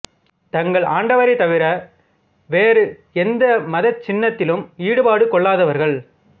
தங்கள் ஆண்டவரை தவிற வேறு எந்த மதச்சின்னத்திலும் ஈடுபாடு கொள்ளாதவர்கள்